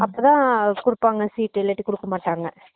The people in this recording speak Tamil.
அப்போ தான் குடுப்பாங்க seat இல்லேன குடுக்க மாட்டாங்க